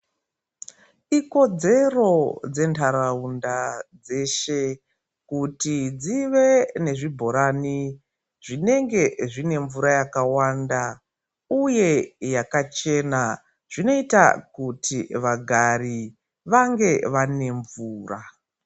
Ikodzero dzendaraunda dzeshe kuti dzive nezvibhorani zvinenge zvine mvura yakawanda uye yakachena zvinoita kuti vagare vange vane mvura.